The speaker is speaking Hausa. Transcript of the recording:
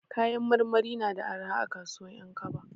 Kayan marmari na da arha a kasuwan 'Yankaba.